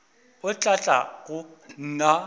o tla tla go nna